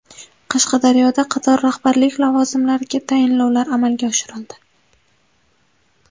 Qashqadaryoda qator rahbarlik lavozimlariga tayinlovlar amalga oshirildi.